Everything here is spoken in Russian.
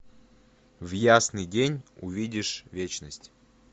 в ясный день увидишь вечность